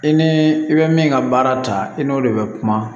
I ni i bɛ min ka baara ta i n'o de bɛ kuma